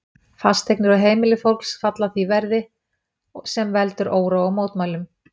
Fasteignir og heimili fólks falla því verði, sem veldur óróa og mótmælum.